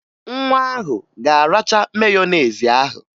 Nwa ahụ ga-aracha meyonezi ahụ